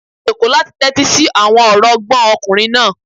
A jòkó láti tẹ́tí sí àwọn ọ̀rọ̀ ọgbọ́n ọkùnrin náà